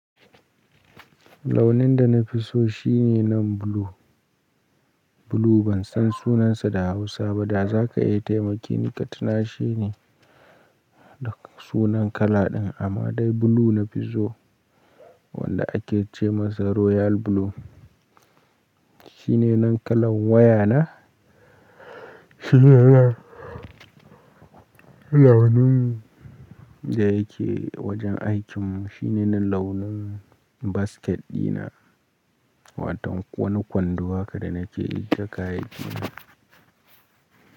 Launin da na fi so shi ne nan blue. Blue ban san sunansa da Hausa ba, da za ka iya taimake ni ka tuna she ne da sunan kala ɗin amma dai blue na fi so wanda ake ce masa royal blue. Shi ne nan kalan waya na, shi ne nan launin da yake wajen aikinmu, shi ne nan launin basket ɗina, wato wani kwando haka da nake ajiye kayayyaki na.